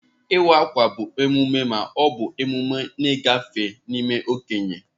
Iwa akwa bụ emume ma ọ bụ emume ngafe n'ime okenye.